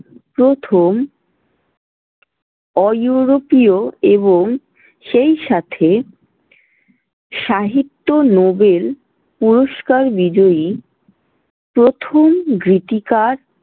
প্রথম অইউরোপীয় এবং সেইসাথে সাহিত্য নোবেল পুরস্কার বিজয়ী প্রথম গীতিকার।